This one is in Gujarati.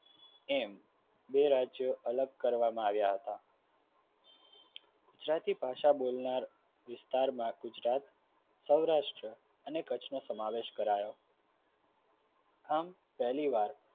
એમ બે રાજ્ય અલગ કરવામાં આવ્યા હતા આદિ ભાષા બોલનાર વિસ્તારમાં ગુજરાત સૌરાષ્ટ્ર અને કચ્છ અને સમાવેશ કરાવ્યો આમ પહેલીવાર